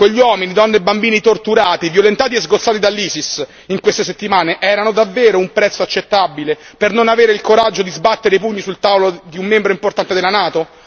Quegli uomini, donne e bambini torturati, violentati e sgozzati dall'ISIS in queste settimane erano davvero un prezzo accettabile per non avere il coraggio di sbattere i pugni sul tavolo di un membro importante della NATO?